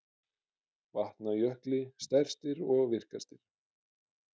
Vatnajökli stærstir og virkastir.